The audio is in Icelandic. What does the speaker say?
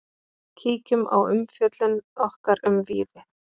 Kíkjum á umfjöllun okkar um Víði.